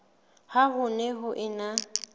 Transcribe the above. ha ho ne ho ena